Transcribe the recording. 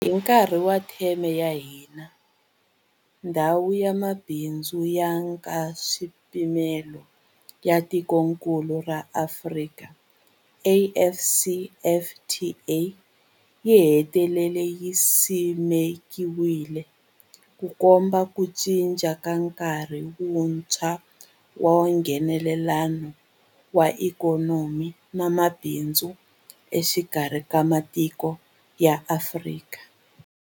Hi nkarhi wa theme ya hina, Ndhawu ya Mabindzu ya Nkaswipimelo ya Tikokulu ra Afrika, AfCFTA, yi hetelele yi simekiwile, Ku komba ku cinca ka nkarhi wuntshwa wa Nghenelelano wa ikhonomi na mabindzu exikarhi ka matiko ya Afrika.